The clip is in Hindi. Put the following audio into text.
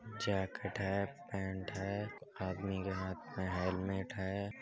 जैकेट है पेंट है आदमी के हाथ में हेलमेट है।